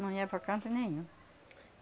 Não ia para canto nenhum.